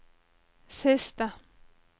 siste